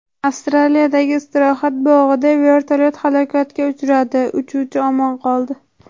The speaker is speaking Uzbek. Avstraliyadagi istirohat bog‘ida vertolyot halokatga uchradi, uchuvchi omon qoldi.